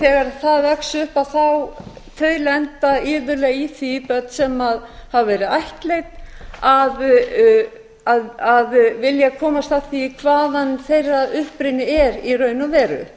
þegar það vex upp á að þau lenda iðulega í því börn sem hafa verið ættleidd að vilja komast að því hvaðan þeirra uppruni er í raun